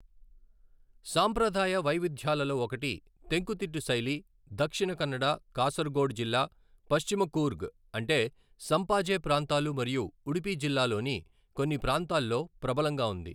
సాంప్రదాయ వైవిధ్యాలలో ఒకటి, తెంకుతిట్టు శైలి, దక్షిణ కన్నడ, కాసరగోడ్ జిల్లా, పశ్చిమ కూర్గ్ అంటే సంపాజే ప్రాంతాలు మరియు ఉడుపి జిల్లాలోని కొన్ని ప్రాంతాల్లో ప్రబలంగా ఉంది.